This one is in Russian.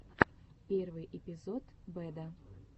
первый эпизод бэда